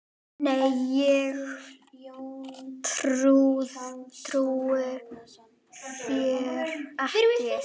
Nei, ég trúi þér ekki.